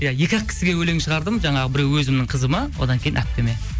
иә екі ақ кісіге өлең шығардым жаңағы біреуі өзімнің қызыма одан кейін әпкеме